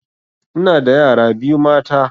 Ina da yara biyu mata